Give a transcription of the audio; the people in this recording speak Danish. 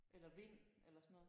Eller vind eller sådan noget?